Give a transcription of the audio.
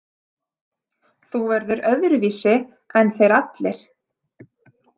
Þú verður öðruvísi en þeir allir.